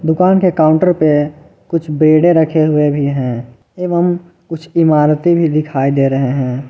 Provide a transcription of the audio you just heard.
दुकान के काउंटर पे कुछ बेड़े रखे हुए भी हैं एवं कुछ इमारतें भी दिखाई दे रहे हैं।